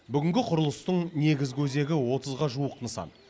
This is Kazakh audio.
бүгінгі құрылыстың негізгі өзегі отызға жуық нысан